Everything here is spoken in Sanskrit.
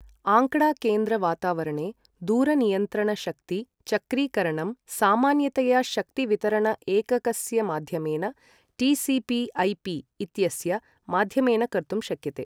आँकडा केन्द्र वातावरणे दूरनियन्त्रण शक्ति चक्रीकरणं सामान्यतया शक्ति वितरण एककस्य माध्यमेन, टिसिपि एैपि इत्यस्य माध्यमेन कर्तुं शक्यते ।